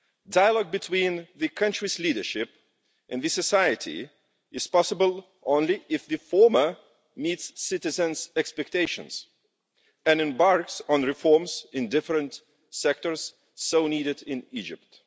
Dialogue between the country's leadership and society is possible only if the former meets citizens' expectations and embarks on reforms in the different sectors so needed in Egypt.